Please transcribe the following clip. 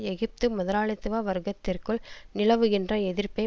எகிப்து முதலாளித்துவ வர்க்கத்திற்குள் நிலவுகின்ற எதிர்ப்பை